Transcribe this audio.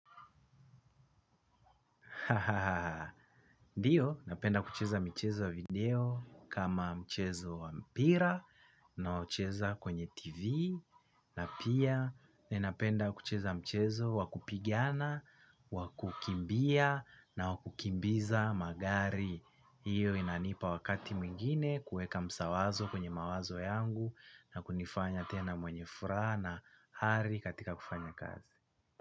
Ndiyo napenda kucheza michezo ya video kama mchezo wa mpira nao cheza kwenye TV. Na pia ni napenda kucheza mchezo wa kupigana, wakukimbia na wa kukimbiza. Magari hiyo inanipa wakati mwingine kueka msawazo kwenye mawazo yangu na kunifanya tena mwenye furaha na hari katika kufanya kazi.